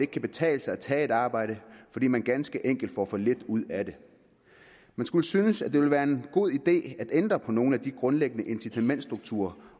kan betale sig at tage et arbejde fordi man ganske enkelt får for lidt ud af det man skulle synes at det ville være en god idé at ændre på nogle af de grundlæggende incitamentsstrukturer